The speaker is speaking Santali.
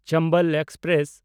ᱪᱚᱢᱵᱚᱞ ᱮᱠᱥᱯᱨᱮᱥ